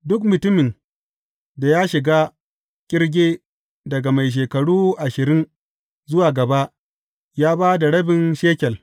Duk mutumin da ya shiga ƙirge daga mai shekaru ashirin zuwa gaba, ya ba da rabin shekel.